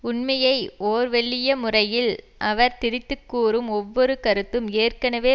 உண்மையை ஓர்வெல்லிய முறையில் அவர் திரித்து கூறும் ஒவ்வொரு கருத்தும் ஏற்கனவே